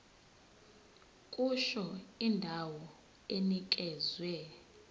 kusho indawo enikezwe